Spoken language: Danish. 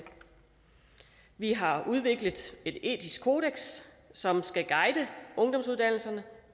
vi har udviklet et etisk kodeks som skal guide ungdomsuddannelserne